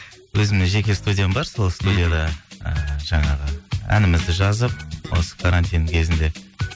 өзімде жеке студиям бар сол студияда ыыы жаңағы әнімізді жазып осы карантин кезінде